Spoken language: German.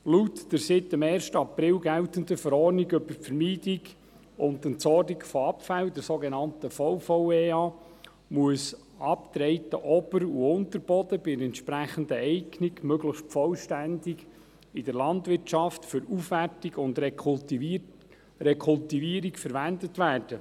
Laut der seit dem 1. April geltenden Verordnung über die Vermeidung und die Entsorgung von Abfällen, der sogenannten VVEA, muss abgetragener Ober- und Unterboden bei entsprechender Eignung möglichst vollständig in der Landwirtschaft für Aufwertung und Rekultivierung verwendet werden.